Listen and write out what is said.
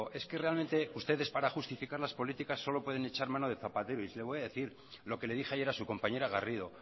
es que realmente ustedes para justificar las políticas solo pueden echar mano de zapatero y se lo voy a decir lo que le dije ayer a su compañera garrido